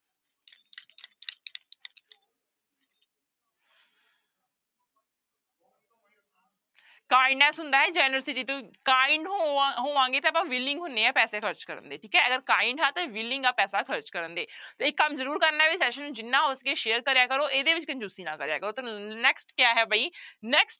kindness ਹੁੰਦਾ ਹੈ generosity ਤੋਂ kind ਹੋਵਾਂਂ ਹੋਵਾਂਗੇ ਤੇ ਆਪਾਂ willing ਹੁੰਦੇ ਹਾਂ ਪੈਸੇ ਖ਼ਰਚ ਕਰਨ ਦੇ ਠੀਕ ਹੈ, ਅਗਰ kind ਆ ਤਾਂ willing ਆ ਪੈਸਾ ਖ਼ਰਚ ਕਰਨ ਦੇ ਇੱਕ ਕੰਮ ਜ਼ਰੂਰ ਕਰਨਾ ਹੈ ਵੀ session ਨੂੰ ਜਿੰਨਾ ਹੋ ਸਕੇ share ਕਰਿਆ ਕਰੋ ਇਹਦੇ ਵਿੱਚ ਕੰਜ਼ੁਸੀ ਨਾ ਕਰਿਆ ਕਰੋ ਤੇ next ਕਿਆ ਹੈ ਬਈ next